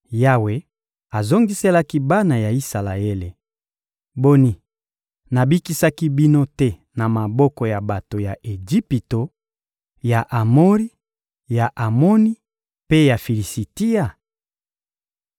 Yawe azongiselaki bana ya Isalaele: — Boni, nabikisaki bino te na maboko ya bato ya Ejipito, ya Amori, ya Amoni mpe ya Filisitia?